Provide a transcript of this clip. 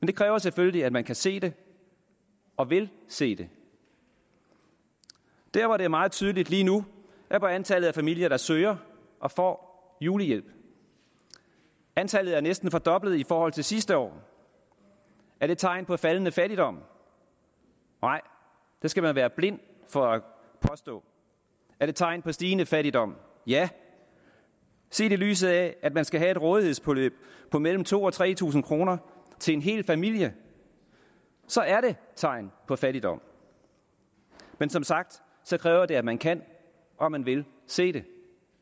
det kræver selvfølgelig at man kan se det og vil se det der hvor det er meget tydeligt lige nu er på antallet af familier der søger og får julehjælp antallet er næsten fordoblet i forhold til sidste år er det tegn på faldende fattigdom nej det skal man være blind for at påstå er det tegn på stigende fattigdom ja set i lyset af at man skal have et rådighedsbeløb på mellem to tusind og tre tusind kroner til en hel familie er det tegn på fattigdom men som sagt kræver det at man kan og at man vil se det